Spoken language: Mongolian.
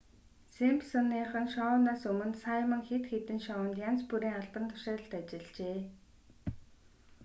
симпсоныхон шоунаас өмнө саймон хэд хэдэн шоунд янз бүрийн албан тушаалд ажиллажээ